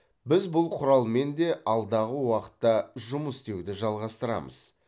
біз бұл құралмен де алдағы уақытта жұмыс істеуді жалғастырамыз